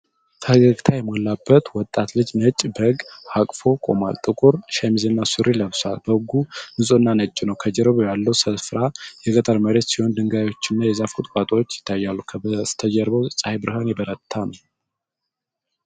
ፈገግታ የሞላበት ወጣት ልጅ ነጭ በግ አቅፎ ቆሟል። ጥቁር ሸሚዝና ሱሪ ለብሷል። በጉ ንፁህና ነጭ ነው። ከጀርባ ያለው ስፍራ የገጠር መሬት ሲሆን ድንጋዮችና የዛፍ ቁጥቋጦዎች ይታያሉ። ከበስተጀርባው የፀሐይ ብርሃን የበረታ ነው።